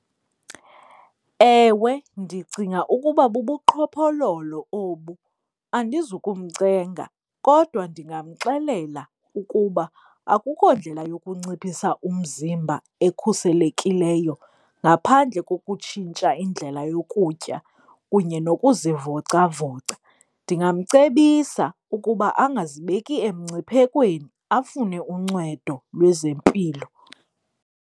Ewe, ndicinga ukuba bubuqhophololo obu, andizukumcenga kodwa ndingamxelela ukuba akukho ndlela yokunciphisa umzimba ekhuselekileyo ngaphandle kokutshintsha indlela yokutya kunye nokuzivocavoca. Ndingamcebisa ukuba angazibeki emngciphekweni afune uncwedo lwezempilo.